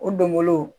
O donbolo